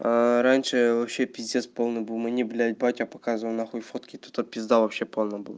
раньше вообще пиздец полный был мне блять батя показывал нахуй фотки тут пизда вообще полная была